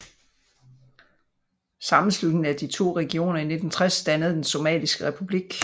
Sammenslutningen af de to regioner i 1960 dannede den somaliske republik